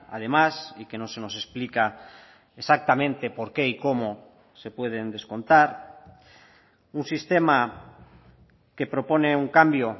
además y que no se nos explica exactamente por qué y cómo se pueden descontar un sistema que propone un cambio